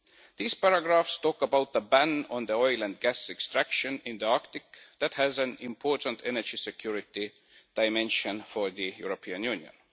These paragraphs talk about the ban on the oil and gas extraction in the Arctic that has an important energy security dimension for the European Union.